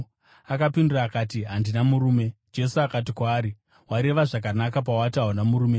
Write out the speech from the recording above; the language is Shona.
Akapindura akati, “Handina murume.” Jesu akati kwaari, “Wareva zvakanaka pawati hauna murume.